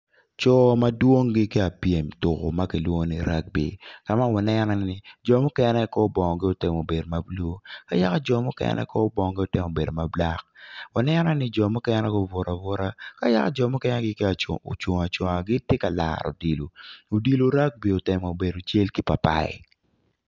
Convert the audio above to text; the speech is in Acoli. Coo madwong gitye piem tuko makilwongo ni rugby kama kinenone i ye ni jo mukene bongo gi otemo bedo mablue ayaka jo mukene kor bongogi otemo bedo mablack, waneno ni jo mukene gubuto abuta kayaka jo mukene gitye cungo acunga gitye ka laro odilo, odilo rugby otemo bedo cel ki papai